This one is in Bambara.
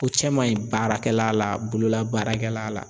O cɛ man ɲi baarakɛla la, bolola baarakɛla la.